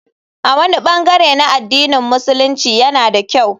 A wani bangare na addinin Musulunci yana da kyau.